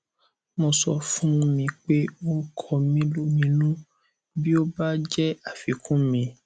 mo sọ fún mi pé ó ń kọ mí lóminú bí ó bá jẹ àfikún mi